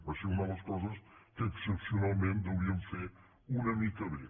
va ser una de les coses que excepcionalment deuríem fer una mica bé